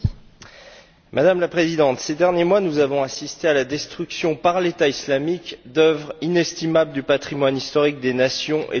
Madame la Présidente, ces derniers mois, nous avons assisté à la destruction par le groupe État islamique d'œuvres inestimables du patrimoine historique des nations et de l'humanité.